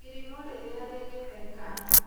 Irimũ rĩrĩa rĩgĩtheka.